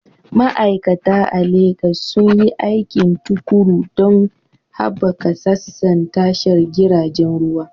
Ma'aikata a Legas sun yi aiki tuƙuru don haɓaka sassan tashar jiragen ruwa.